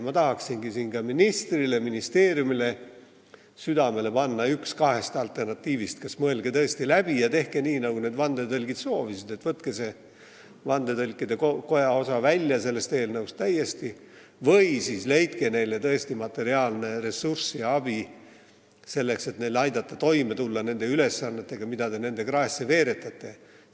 Ma tahaksingi siin ministrile ja ministeeriumile südamele panna, et valige üks kahest alternatiivist: mõelge asi läbi ja tehke nii, nagu vandetõlgid soovisid, ehk võtke vandetõlkide koja osa sellest eelnõust täiesti välja, või leidke neile materiaalne ressurss ja andke abi, selleks et aidata neil toime tulla nende ülesannetega, mida te nende kraesse veeretate.